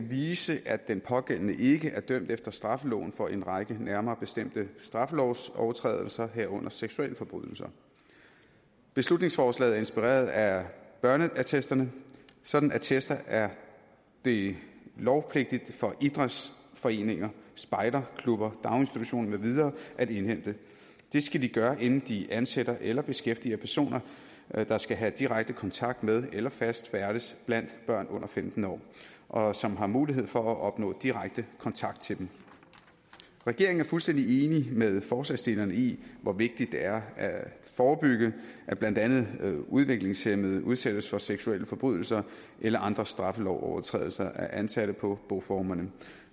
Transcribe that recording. vise at den pågældende ikke er dømt efter straffeloven for en række nærmere bestemte straffelovsovertrædelser herunder seksualforbrydelser beslutningsforslaget er inspireret af børneattesterne sådanne attester er det lovpligtigt for idrætsforeninger spejderklubber daginstitutioner med videre at indhente det skal de gøre inden de ansætter eller beskæftiger personer der skal have direkte kontakt med eller fast færdes blandt børn under femten år og som har mulighed for at opnå direkte kontakt til dem regeringen er fuldstændig enig med forslagsstillerne i hvor vigtigt det er at forebygge at blandt andet udviklingshæmmede udsættes for seksualforbrydelser eller andre straffelovsovertrædelser af ansatte på boformerne